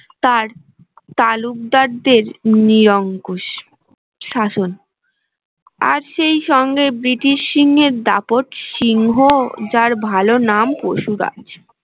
তার তালুকদার দের নিয়ঙ্কুশ শাসন আর সেই সঙ্গে ব্রিটিশ সিংহের দাপট সিংহ যার ভালো নাম পশুরাজ